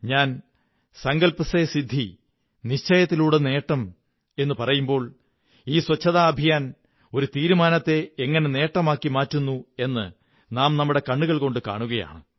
ഞാൻ സങ്കല്പ്വ സേ സിദ്ധി നിശ്ചയത്തിലൂടെ നേട്ടം എന്നു ഞാൻ പറയുമ്പോൾ ഈ ശുചിത്വ ദൌത്യം ഒരു നിശ്ചയത്തെ എങ്ങനെ ഒരു നേട്ടമാക്കി മാറ്റുന്നു എന്നു നാം നേരിട്ട് കാണുകയാണ്